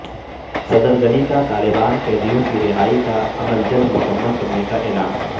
صدر غنی کا طالبان قیدیوں کی رہائی کا عمل جلد مکمل کرنے کا اعلان